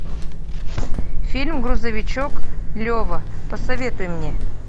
фильм грузовичок лева посоветуй мне